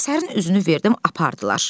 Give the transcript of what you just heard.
Əsərin üzünü verdim, apardılar.